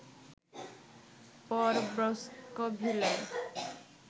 পর ব্রোঙ্কসভিলে